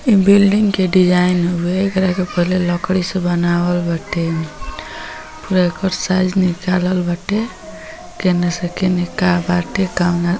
इ बिल्डिंग के डिजाइन हउवे एकरा के पहिले लकड़ी से बनावल बाटे पूरा एकर साइज निकालल बाटे केने से केने का बाटे कौना --